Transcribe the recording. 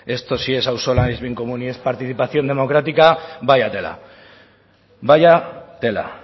esto si es auzolana si es bien común y es participación democrática vaya tela vaya tela